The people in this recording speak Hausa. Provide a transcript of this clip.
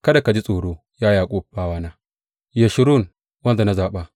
Kada ka ji tsoro, ya Yaƙub, bawana, Yeshurun, wanda na zaɓa.